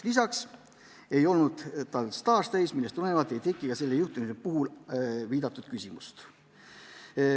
Lisaks ei olnud tal staaž täis, millest tulenevalt ei teki ka selle juhtumi puhul viidatud küsimust.